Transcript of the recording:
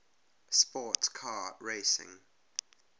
sports car racing